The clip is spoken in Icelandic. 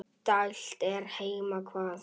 dælt er heima hvað.